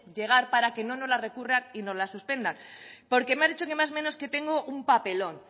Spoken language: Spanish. llegar para que no nos la recurran y no las suspendan porque me has dicho más o menos que tengo un papelón